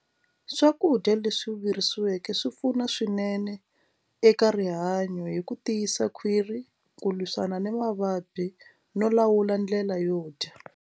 Swakudya leswi virisiweke swi pfuna swinene eka rihanyo hi ku tiyisa khwiri ku lwisana ni mavabyi no lawula ndlela yo dya.